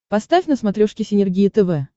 поставь на смотрешке синергия тв